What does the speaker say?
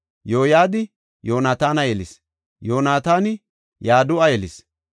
Yoyadi Yoonataana yelis; Yoonataani Yadu7a yelis.